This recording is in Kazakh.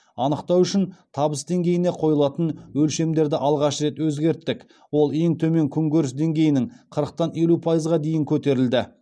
анықтау үшін табыс деңгейіне қойылатын өлшемдерді алғаш рет өзгерттік ол ең төмен күнкөріс деңгейінің қырықтан елу пайызға дейін көтерілді